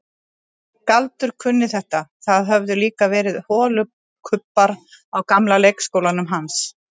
Galdur kunni þetta, það höfðu líka verið holukubbar á gamla leikskólanum hans.